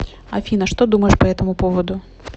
афина что думаешь по этому поводу